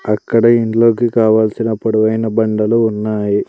అక్కడ ఇంట్లోకి కావల్సిన పొడవైన బండలు ఉన్నాయి.